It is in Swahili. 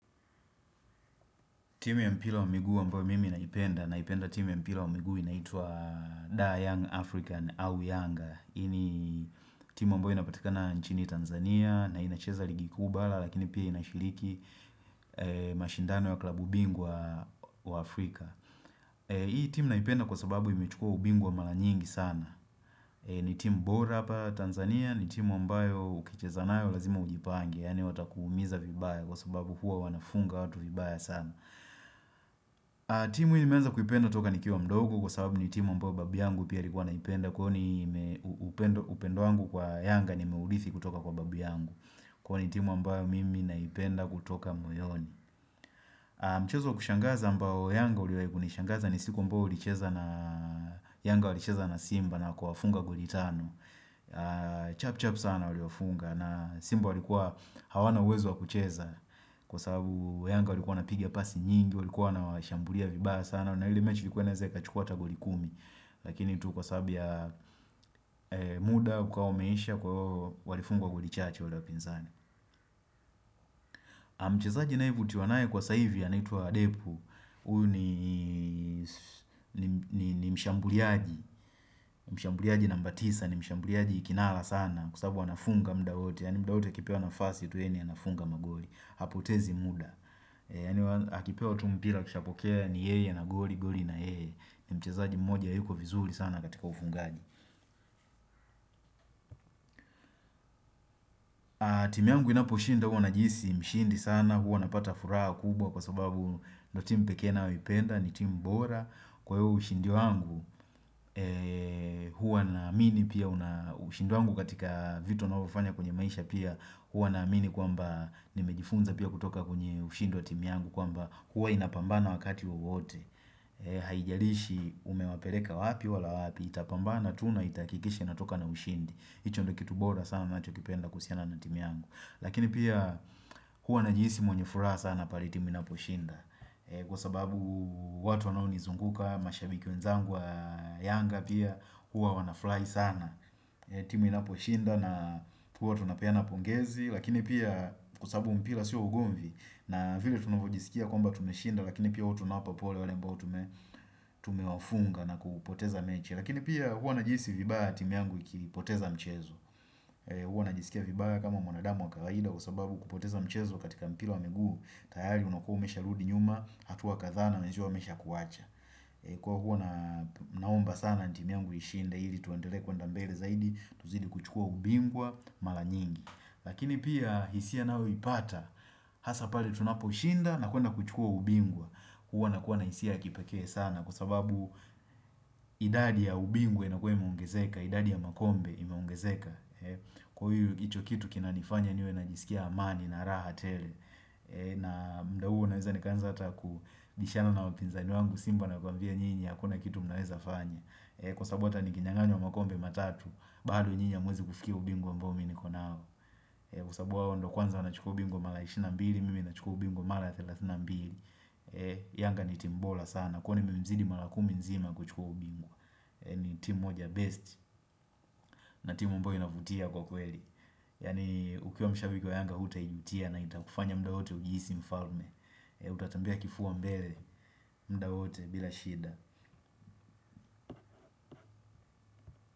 Timu ya mpila wa migu ambao mimi naipenda, naipenda timu ya mpila wa miguu inaitwa The Young African au Younger, hii ni timu ambao inapatikana nchini Tanzania na inacheza ligi kuu bala lakini pia inashiliki mashindano wa klabu bingwa wa Afrika Hii timu naipenda kwa sababu imechukua ubingwa mala nyingi sana ni timu bora apa Tanzania, ni timu ambayo ukicheza nayo lazima ujipange Yani watakuumiza vibaya kwa sababu hua wanafunga watu vibaya sana timu hii nimenza kuipenda toka nikiwa mdogo kwa sababu ni timu ambayo babu yangu pia alikuwa naipenda Kwa ni upendo wangu kwa yanga nimeulithi kutoka kwa babu yangu Kwa ni timu ambayo mimi naipenda kutoka moyoni Mchezo kushangaza ambayo yanga uliwai ni shangaza ni siku ambayo ulicheza na Yanga ulicheza na Simba na kuwafunga goli tano Chap chap sana waliwafunga na Simba walikuwa hawana uwezo wa kucheza Kwa sababu wayanga walikuwa napigi ya pasi nyingi walikuwa na washambulia vibaya sana na ile mechi ilikuwa inaeza ika chukua ata goli kumi Lakini tu kwa sababu ya muda ukawa umeisha kwa ivo walifungwa goli chache wale wapinzani mchezaji naye vutiwa nae kwa sa hivi anaitwa adepu Uyu ni mshambuliaji Mshambuliaji namba tisa ni mshambuliaji kinala sana Kwa sababu anafunga muda wote Yani muda wote akipewa nafasi tu yani anafunga magoli Hapotezi muda Yani akipewa tu mpira akishapokea ni yeye na goli goli na yeye ni mchezaji mmoja yuko vizuri sana katika ufungaji timu yangu inapo shinda hua najiisi mshindi sana huwa napata furaha kubwa kwa sababu ndo team pekee naoipenda ni team bora Kwa hua ushindi wangu hua na amini pia ushindi wangu katika vitu nao vifanya kwenye maisha pia Hua na amini kwamba nimejifunza pia kutoka kwenye ushindi wa timu yangu kwamba hua inapambana wakati wa wote haijalishi umewapeleka wapi wala wapi itapambana tuna itaakikishi inatoka na ushindi hicho ndo kitu bora sana nachokipenda kuhusiana na timu yangu lakini pia hua najiisi mwenye furaha sana pale timu inapo shinda kwa sababu watu wanoo nizunguka mashabiki wenzangu wa yanga pia hua wana fulai sana timu inapo shinda na hua tunapeana pongezi lakini pia kwa sababu mpila si wa ugomvi na vile tunavojisikia kwamba tumeshinda lakini pia hua tunawapa pole wale ambao tumewafunga na kupoteza mechi lakini pia hua najiisi vibaya timu yangu ikipoteza mchezo hua najisikia vibaya kama mwanadamu wakawaida kwa sababu kupoteza mchezo katika mpira wa miguu tayari unakuwa umesha rudi nyuma hatua kadhaa na wenzio wamesha kuwacha kwa hua naomba sana timu yangu ishinde hili tuendele kwenda mbele zaidi tuzidi kuchukua ubingwa mala nyingi lakini pia hisia nao ipata hasa pale tunapo shinda na kwenda kuchukua ubingwa huwa nakuwa na hisia kipeke sana Kwa sababu idadi ya ubingwa inakua imeongezeka idadi ya makombe imeongezeka Kwa hiyo hicho kitu kinanifanya niwe najisikia amani na raha tele na muda huo naweza nikaanza hata kubishana na wapinzani wangu Simba na kuambia nyinyi akuna kitu mnaweza fanya Kwa sababu hata nikinyanganywa makombe matatu bado nyinyi hamuwezi kufikia ubingwa ambao mi niko nawo kwa sababu wao ndo kwanza wanachukua ubingwa mala ishirini na mbili, mimi nachukua ubingwa mala thelathini na mbili Yanga ni timu bora sana, kwani memzidi mala kumi nzima kuchukua ubingwa ni timu moja best na timu ambayo inavutia kwa kweli Yani ukiwa mshabiki wa yanga huta ijutia na itakufanya muda wote ujiisi mfalme Utatembea kifua mbele, muda wote bila shida.